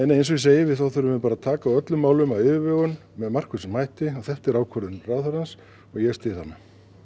eins og ég segi þá þurfum við bara að taka á öllum málum af yfirvegun með markvissum hætti og þetta er ákvörðun ráðherrans og ég styð hana